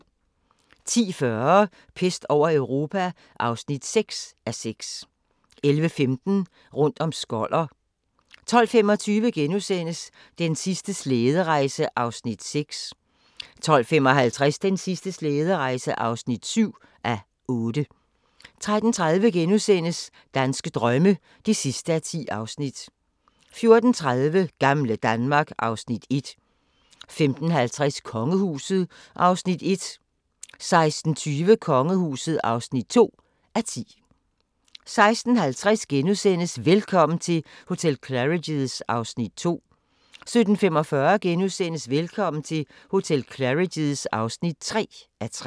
10:40: Pest over Europa (6:6) 11:15: Rundt om Skoller 12:25: Den sidste slæderejse (6:8)* 12:55: Den sidste slæderejse (7:8) 13:30: Danske drømme (10:10)* 14:30: Gamle Danmark (Afs. 1) 15:50: Kongehuset (1:10) 16:20: Kongehuset (2:10) 16:50: Velkommen til hotel Claridge's (2:3)* 17:45: Velkommen til hotel Claridge's (3:3)*